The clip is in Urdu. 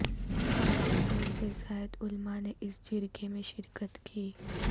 پانچ سو سے زائد علما نے اس جرگے میں شرکت کی